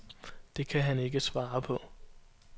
Det kan han ikke svare på.